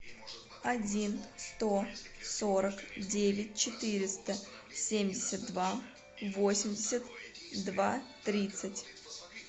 один сто сорок девять четыреста семьдесят два восемьдесят два тридцать